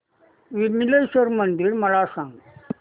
विमलेश्वर मंदिर मला सांग